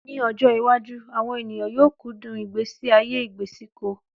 Ní ọjọ́ iwájú, àwọn ènìyàn yóò kú dùn ìgbésí ayé ìgbèsíko